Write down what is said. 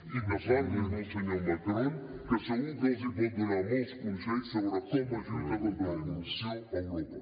i que parli amb el senyor macron que segur que els pot donar molts consells sobre com es lluita contra la corrupció a europa